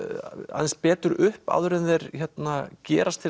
aðeins betur upp áður en þeir gerast til